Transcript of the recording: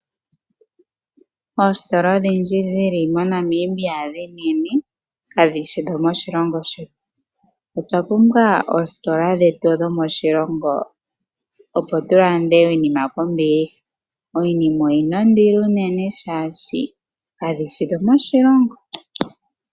Oositola odhindji dhili moNamibia dhi enene ka dhishi dho moshilongo shetu. Otwa pumbwa oositola dhetu dho moshilongo opo tu lande iinima kombiliha. Iinima oyina ondilo uunene shashi ka dhishi dho moshilongo.